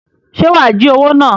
Ṣe wá jí owo náà?